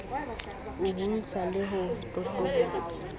ho hodisa le ho totobatsa